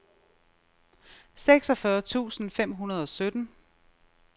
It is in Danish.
seksogfyrre tusind fem hundrede og sytten